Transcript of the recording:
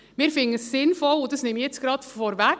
Wir finden es sinnvoll – das nehme ich jetzt gerade vorweg;